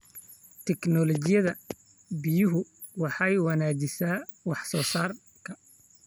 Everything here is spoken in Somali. Tignoolajiyada biyuhu waxay wanaajisaa wax soo saarka.